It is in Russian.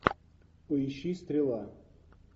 поищи стрела